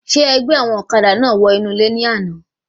Ṣe ẹ gbẹ́ àwọn ọ̀kadà náà wọ inú ilé ní àna?